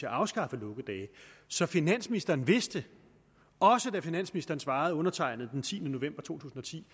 at afskaffe lukkedage så finansministeren vidste også da finansministeren svarede undertegnede den tiende november to tusind og ti